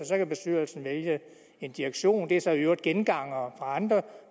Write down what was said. så kan bestyrelsen vælge en direktion det er så i øvrigt gengangere fra andre